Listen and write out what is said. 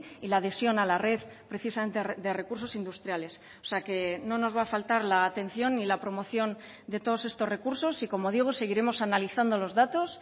y la adhesión a la red precisamente de recursos industriales o sea que no nos va a faltar la atención y la promoción de todos estos recursos y como digo seguiremos analizando los datos